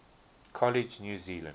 college new zealand